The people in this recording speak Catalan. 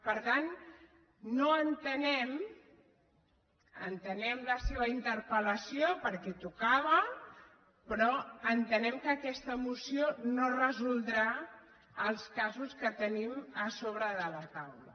per tant entenem la seva interpel·lació perquè tocava però entenem que aquesta moció no resoldrà els casos que tenim a sobre de la taula